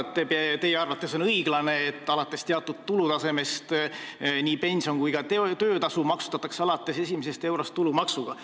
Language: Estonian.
Ma saan aru, et teie arvates on õiglane, et alates teatud tulutasemest nii pension kui ka töötasu maksustatakse alates esimesest eurost tulumaksuga.